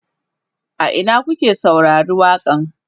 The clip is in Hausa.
a Ina kuka saurari waƙa n?